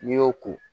N'i y'o ko